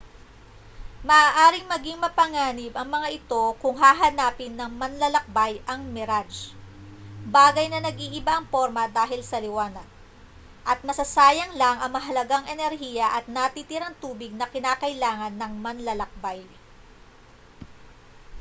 maaaring maging mapanganib ang mga ito kung hahanapin ng manlalakbay ang mirage bagay na nag-iiba ang porma dahil sa liwanag at masasayang lang ang mahalagang enerhiya at natitirang tubig na kinakailangan ng manlalakbay